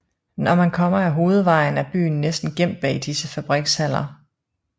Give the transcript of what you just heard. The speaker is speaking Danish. Når man kommer ad hovedvejen er byen næsten gemt bag disse fabrikshaller